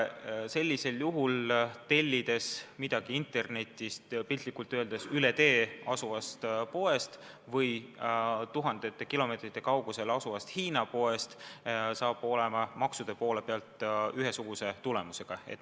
Sellisel juhul on nii, et tellides midagi internetist kas piltlikult öeldes üle tee asuvast poest või tuhandete kilomeetrite kaugusel asuvast Hiina poest, maksud on ikka samad.